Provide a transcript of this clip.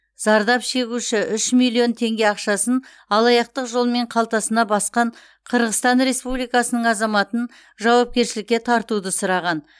зардап шегуші үш миллион теңге ақшасын алаяқтық жолмен қалтасына басқан қырғызстан республикасының азаматын жауапкершілікке тартуды сұраған